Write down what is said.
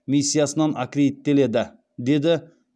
миссиясынан аккредиттеледі деді